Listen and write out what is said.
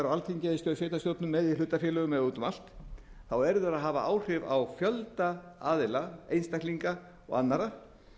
alþingi eða í sveitarstjórnum eða hlutafélögum eða út um allt þá eru þeir að hafa áhrif á fjölda aðila einstaklinga og annarra